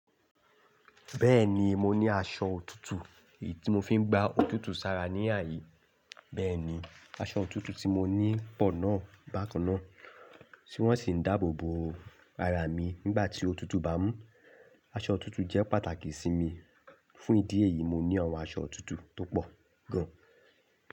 Bẹ́ẹ̀ni, mo ní aṣọ otútù tí mo fi ń gba òtútù sara ní àyè. Bẹ́ẹ̀ni, aṣọ òtútù tí mo ní pọ̀ náà bákan náà, tí wọ́n sì ń dáàbò bo ara mi nígbà tí òtútù bá mú. Aṣọ òtútù jẹ́ pàtàkì sí mi. Fún ìdí èyí, mo ní àwọn aṣọ òtútù tó pọ̀ gan.